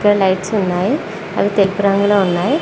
Lights ఉన్నాయి అవి తెలుపు రంగులో ఉన్నాయి.